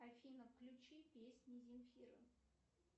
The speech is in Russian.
афина включи песни земфиры